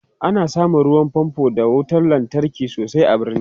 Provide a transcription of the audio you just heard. ana samun ruwan fanfo d wutar lantarki sosai a birni